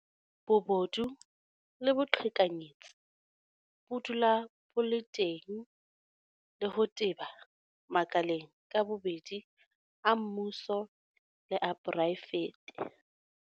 Bobodu le boqhekanyetsi bo dula bo le teng le ho teba makaleng ka bobedi a mmuso le a poraefete.